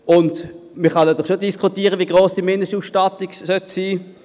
Man kann schon diskutieren, wie hoch die Mindestausstattung sein sollte.